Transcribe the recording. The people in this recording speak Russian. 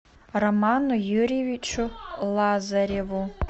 роману юрьевичу лазареву